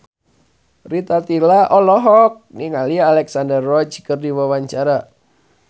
Rita Tila olohok ningali Alexandra Roach keur diwawancara